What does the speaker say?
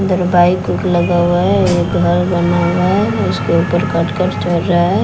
अंदर बाइक ओइक लगा हुआ है एक घर बना हुआ है उसके ऊपर कटकट चर रहा है।